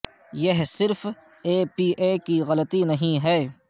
یہ صرف A P A کی غلطی نہیں ہے